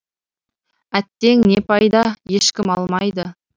әттең не пайда ешкім алмайды